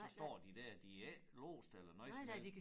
Så står de dér der er ikke låste eller noget som helst